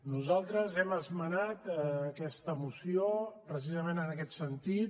nosaltres hem esmenat aquesta moció precisament en aquest sentit